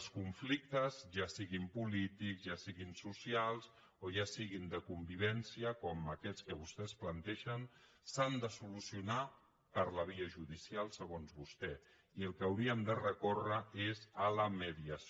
els conflictes ja siguin polítics ja siguin socials o ja siguin de convivència com aquests que vostès plantegen s’han de solucionar per la via judicial segons vostè i al que hauríem de recórrer és a la mediació